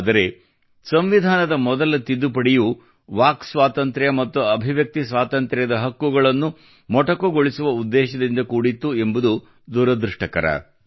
ಆದರೆ ಸಂವಿಧಾನದ ಮೊದಲ ತಿದ್ದುಪಡಿಯು ವಾಕ್ ಸ್ವಾತಂತ್ರ್ಯ ಮತ್ತು ಅಭಿವ್ಯಕ್ತಿ ಸ್ವಾತಂತ್ರ್ಯದ ಹಕ್ಕುಗಳನ್ನು ಮೊಟಕುಗೊಳಿಸುವ ಉದ್ದೇಶದಿಂದ ಕೂಡಿತ್ತು ಎಂಬುದು ದುರದೃಷ್ಟಕರ